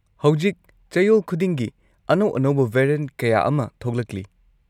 ꯍꯧꯖꯤꯛ ꯆꯌꯣꯜ ꯈꯨꯗꯤꯡꯒꯤ ꯑꯅꯧ-ꯑꯅꯧꯕ ꯚꯦꯔꯤꯑꯦꯟꯠ ꯀꯌꯥ ꯑꯃ ꯊꯣꯛꯂꯛꯂꯤ꯫